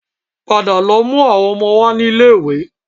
Padà lọ mú àwọn ọmọ wá ní ilé-iwé